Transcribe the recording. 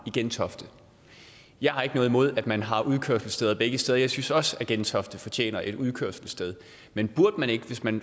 i gentofte jeg har ikke noget imod at man har udkørselssteder begge steder jeg synes også at gentofte fortjener et udkørselssted men burde man ikke hvis man